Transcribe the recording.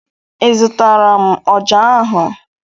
Ị zụtara m ọjà ahụ?